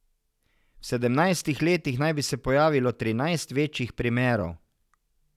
V sedemnajstih letih naj bi se pojavilo trinajst večjih primerov.